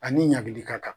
Ani ɲangili ka kan